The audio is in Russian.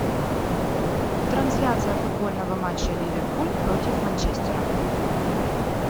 трансляция футбольного матча ливерпуль против манчестера